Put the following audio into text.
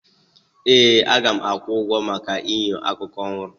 Ee! M ga-akwụ ụgwọ maka enyo akụkụ ọhụrụ.